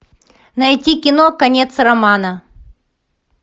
найти кино конец романа